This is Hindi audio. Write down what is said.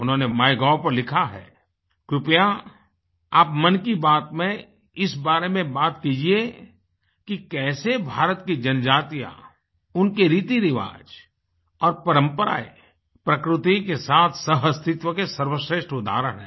उन्होंने Mygovपर लिखा हैकृपया आप मन की बात में इस बारें में बात कीजिये कि कैसे भारत की जनजातियाँ उनके रीतिरिवाज और परंपराएँ प्रकृति के साथ सहअस्तित्व के सर्वश्रेष्ठ उदाहरण हैं